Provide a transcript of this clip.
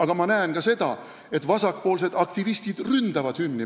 Aga ma näen ka seda, et vasakpoolsed aktivistid ründavad hümni.